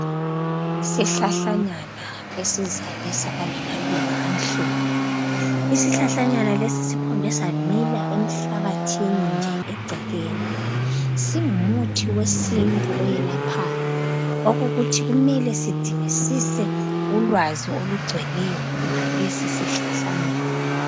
Isihlahlanyana esizalisa amaluba amhlophe isihlahlanyana lesi siphume samila emhlabathini nje eceleni singumuthi wesintu eyelaphayo ukuthi kumele sidingisise ulwazi olugcweleyo ngalesi sihlahla .